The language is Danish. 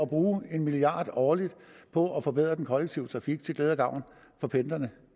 bruge en milliard årligt på at forbedre den kollektive trafik til glæde og gavn for pendlerne